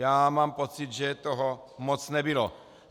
Já mám pocit, že toho moc nebylo.